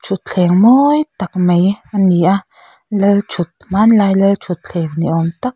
thutthleng mawi tak mai ani a lalthut hmanlai lalthutthleng ni awm tak--